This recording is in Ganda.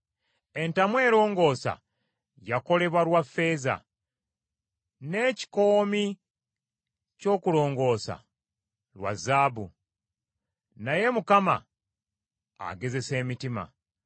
Entamu erongoosa yakolebwa lwa ffeeza, n’ekikoomi ky’okulongoosa lwa zaabu, naye Mukama agezesa emitima.